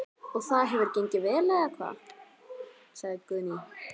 Guðný: Og það hefur gengið vel eða hvað?